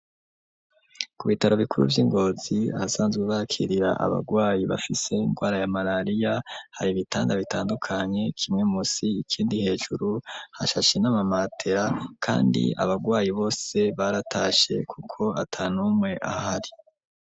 Ku bitaro bikuru vy'i Ngozi, ahasanzwe bakirira abagwayi bafise ingwara ya marariya, hari ibitanda bitandukanye kimwe munsi ikindi hejuru; hashashe n'amamatera kandi abagwayi bose baratashe, kuko ata n'umwe ahari.